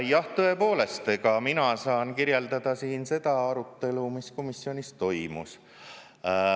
Jah, tõepoolest, mina saan kirjeldada siin seda arutelu, mis komisjonis toimus.